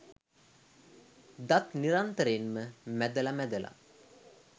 දත් නිරන්තරයෙන්ම මැදල මැදල